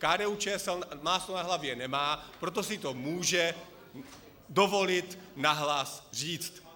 KDU-ČSL máslo na hlavě nemá, proto si to může dovolit nahlas říct.